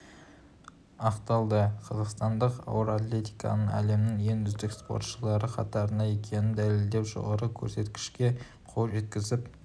ақталды қазақстандық ауыр атлеттердің әлемнің ең үздік спортшылары қатарында екенін дәлелдеп жоғары көрсеткішке қол жеткізіп